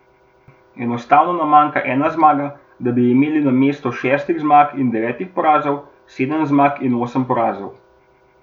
Enostavno nam manjka ena zmaga, da bi imeli namesto šestih zmag in devetih porazov sedem zmag in osem porazov.